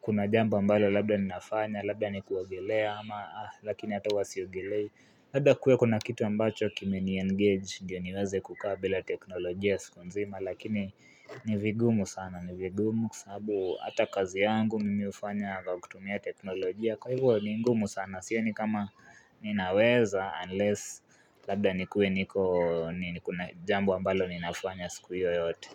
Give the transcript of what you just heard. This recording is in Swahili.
kuna jambo ambalo labda ninafanya Labda ni kuongelea ama lakini hata huwa siogelei Labda kuwe kuna kitu ambacho kime niengage ndiyo niweze kukaa bila teknolojia siku nzima Lakini ni vigumu sana ni vigumu Kwa sababu hata kazi yangu mimi hufanya kwa kutumia teknolojia Kwa hivyo ni ngumu sana sioni kama ninaweza unless labda nikuwe niko kuna jambo ambalo ninafanya siku hiyo yote.